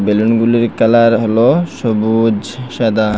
বেলুনগুলির colour হল সবুজ সাদা।